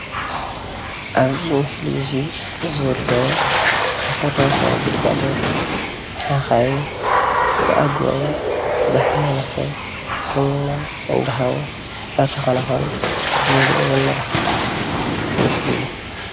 ኣብዚ ምሰሊ እዚ ዘሎ መሰረታዊ ግልጋሎት ሓካይም ብኣግቡባ ዝሓመመ ሰብ ሕክምና እንዳሃቡ እንዳተከናከኑ ዘርኢ ዘመላክት ምስሊ እዩ፡፡